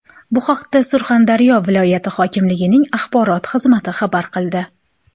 Bu haqda Surxondaryo viloyati hokimligining axborot xizmati xabar qildi .